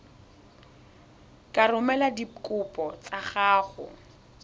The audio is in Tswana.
ka romela dikopo tsa gago